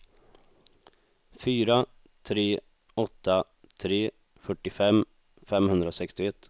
fyra tre åtta tre fyrtiofem femhundrasextioett